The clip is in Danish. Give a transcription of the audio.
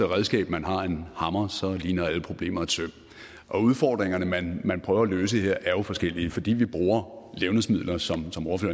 redskab man har er en hammer så ligner alle problemer et søm udfordringerne man man prøver at løse her er jo forskellige fordi vi bruger levnedsmidler som